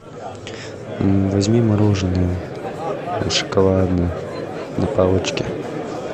возьми мороженое шоколадное на палочке